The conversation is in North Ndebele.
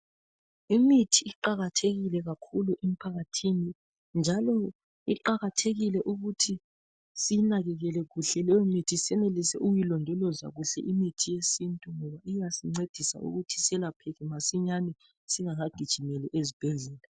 Imithi iqakathekile kakhulu emphakathini, njalo iqakathekile ukuthi siyinakekele kuhle leyo mithi senelise ukuyilondoloza kuhle, imithi yesintu iyasincedisa ukuthi selapheke masinyane esingaka gijimeli ezibhedlela.